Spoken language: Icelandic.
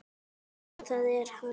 Já, það er hann.